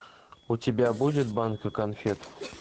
у тебя будет банка конфет